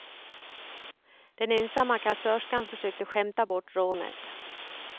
Den ensamma kassörskan försökte skämta bort rånet.